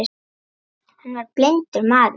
Hann var blindur maður.